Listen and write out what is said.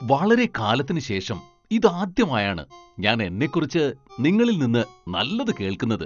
വളരെക്കാലത്തിനുശേഷം ഇതാദ്യമായാണ് ഞാൻ എന്നെക്കുറിച്ച് നിങ്ങളിൽ നിന്ന് നല്ലത് കേൾക്കുന്നത്.